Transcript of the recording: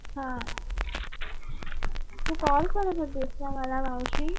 हा तू call करत होतीस का? मला मावशी.